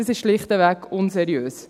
das ist schlichtweg unseriös.